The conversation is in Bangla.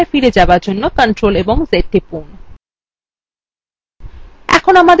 পূর্বাবস্থায় ফিরে যাওয়ার জন্য ctrl + z টিপুন